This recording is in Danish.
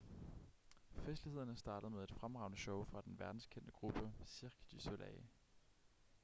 festlighederne startede med et fremragende show fra den verdenskendte gruppe cirque du soleil